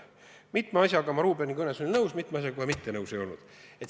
Mitme asjaga olen ma Ruubeni kõne puhul nõus, mitme asjaga aga mitte.